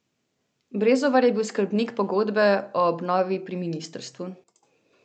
Brezovar je bil skrbnik pogodbe o obnovi pri ministrstvu.